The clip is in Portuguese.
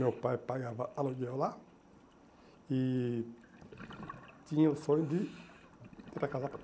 Meu pai pagava aluguel lá e tinha o sonho de tentar casar para lá.